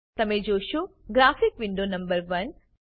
તમને જોશો graphic window number 1